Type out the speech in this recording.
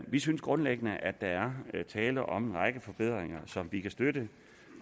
vi synes grundlæggende at der er tale om en række forbedringer som vi kan støtte